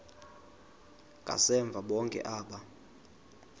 ngasemva bonke aba